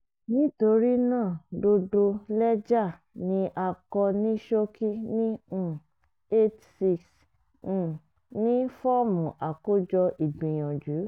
nítorí náà gbogbo lẹ́jà ni a kọ ní ṣókí ní um eight six[um] ní fọ́ọ̀mù àkójọ ìgbìyànjú